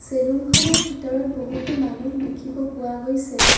Salon খনৰ ভিতৰত বহুতো মানুহ দেখিব পোৱা গৈছে।